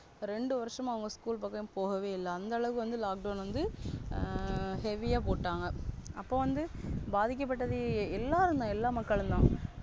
ரேண்டு வருஷமா அவங்க School பக்கம் போகவே இல்ல அந்த அளவுக்கு Lockdown வந்து Heavy போட்டாங்க. அப்போ வந்து பாதிக்கப்பட்டது எல்லாரும்தா எல்லா மக்களும்தா.